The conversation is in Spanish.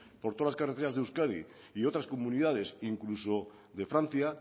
por todas las carreteras de euskadi y otras comunidades incluso de francia